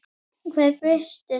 Hver birti þetta?